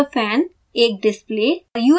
एक computer fan एक display